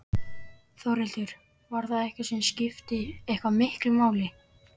Þórhildur: Var það eitthvað sem skipti eitthvað miklu máli?